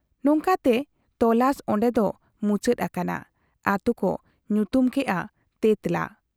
ᱱᱚᱝᱠᱟᱛᱮ ᱛᱚᱞᱟᱥ ᱚᱱᱰᱮ ᱫᱚ ᱢᱩᱪᱟᱹᱫ ᱟᱠᱟᱱᱟ ᱾ ᱟᱛᱩ ᱠᱚ ᱧᱩᱛᱩᱢ ᱠᱮᱜ ᱟ ᱛᱮᱸᱛᱞᱟ ᱾